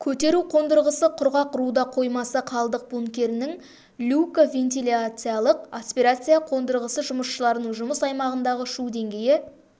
көтеру қондырғысы құрғақ руда қоймасы қалдық бункерінің люкі вентиляциялық аспирация қондырғысы жұмысшыларының жұмыс аймағындағы шу деңгейі